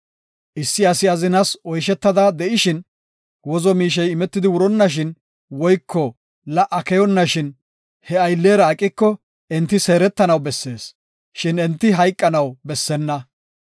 “Issi asi azinas oyshetada de7ishin, wozo miishey imetidi wuronnashin woyko la77a keyonnashin, he ayllera aqiko enti seeretanaw bessees, shin enti hayqanaw bessenna.